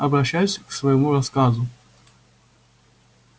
обращаюсь к своему рассказу